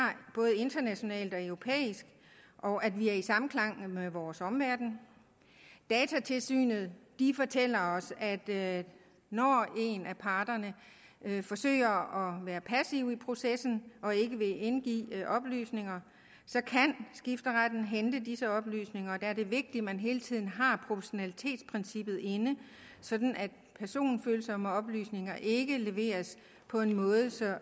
både internationalt og europæisk og at vi er i samklang med vores omverden datatilsynet fortæller os at når en af parterne forsøger at være passiv i processen og ikke vil indgive oplysninger så kan skifteretten hente disse oplysninger og der er det vigtigt at man hele tiden har proportionalitetsprincippet inde sådan at personfølsomme oplysninger ikke leveres på en måde så